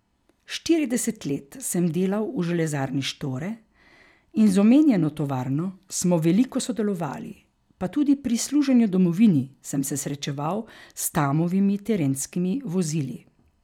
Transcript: Štirideset let sem delal v Železarni Štore in z omenjeno tovarno smo veliko sodelovali, pa tudi pri služenju domovini sem se srečeval s Tamovimi terenskimi vozili.